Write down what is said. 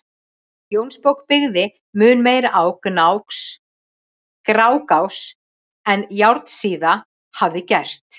Jónsbók byggði mun meira á Grágás en Járnsíða hafði gert.